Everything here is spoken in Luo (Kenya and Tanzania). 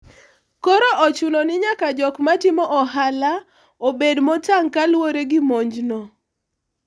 koro ochuno ni nyaka jok matimo ohala obed motang' kaluwore gi monj no